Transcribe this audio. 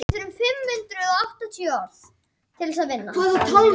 Líklegast er að koma auga á tildrur í fjörum yfir vetrartímann.